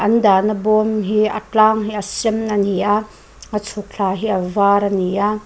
an dahna bawm hi a tlang hi a sen a ni a a chhuk thla hi a var a ni a.